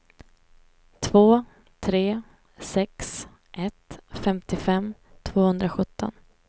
två tre sex ett femtiofem tvåhundrasjutton